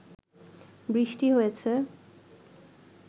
বৃষ্টি হয়েছে